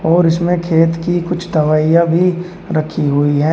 और इसमें खेत की कुछ दवाइयां भी रखी हुई है।